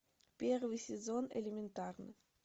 первый сезон элементарно